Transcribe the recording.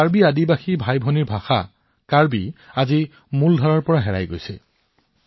কাৰ্বি জনজাতীয় ভাইভনীসকলৰ ভাষা আজি মূলধাৰাৰ পৰা অদৃশ্য হৈ পৰিছে